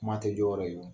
Kuma tɛ jɔ